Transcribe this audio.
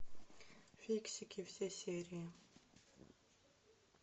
фиксики все серии